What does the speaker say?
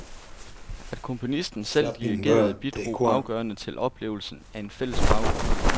At komponisten selv dirigerede bidrog afgørende til oplevelsen af en fælles baggrund.